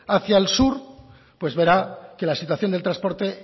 hacia el sur pues verá que la situación del transporte